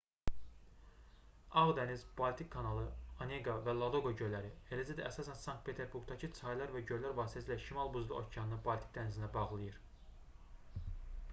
ağ dəniz baltik kanalı oneqa və ladoqa göllləri eləcə də əsasən sankt-peterburqdakı çaylar və göllər vasitəsilə şimal buzlu okeanını baltik dənizinə bağlayır